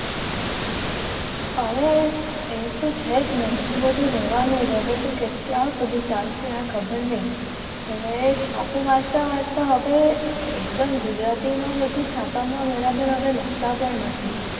હવે એ તો છે જ ને વધુ રહેવાનું જ હવે તો કે ક્યાં સુધી ચાલશે આ ખબર નહિ હવે છાપુ વાંચતા વાંચતા આપે એકદમ ગુજરાતીમાં બધું છાપામાં બરાબર હવે લખતા પણ નથી.